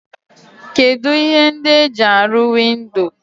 Kedu ihe ndi e ji aru windo?